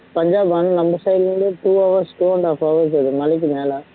பஞ்சாப் நம்ம side ல இருந்து two hours two and half hours வருது மலைக்குமேல